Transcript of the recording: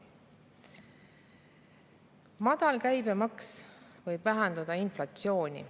Madal käibemaks võib vähendada inflatsiooni.